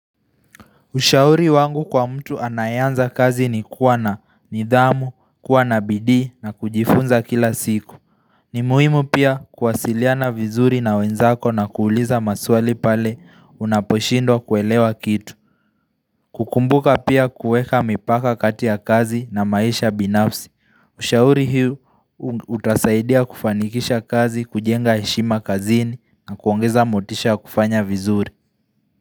Ushauri wangu kwa mtu anayeanza kazi ni kuwa na nidhamu, kuwa na bidii na kujifunza kila siku. Ni muhimu pia kuwasiliana vizuri na wenzako na kuuliza maswali pale unaposhindwa kuelewa kitu. Kukumbuka pia kueka mipaka kati ya kazi na maisha binafsi. Ushauri huu utasaidia kufanikisha kazi, kujenga heshima kazini na kuongeza motisha kufanya vizuri.